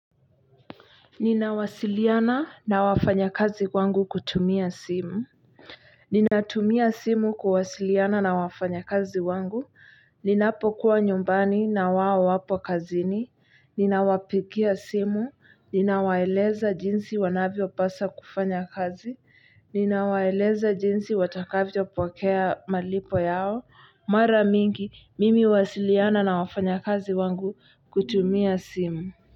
Ninawasiliana na wafanyakazi wangu kutumia simu. Ninatumia simu kuwasiliana na wafanyakazi wangu, ninapokuwa nyumbani na wao wapo kazini, ninawapikia simu, ninawaeleza jinsi wanavyopasa kufanya kazi, ninawaeleza jinsi watakavyopokea malipo yao, mara mingi mimi huwasiliana na wafanyakazi wangu kutumia simu.